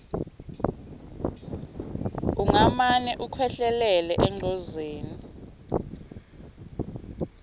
ungamane ukhwehlelele engcozeni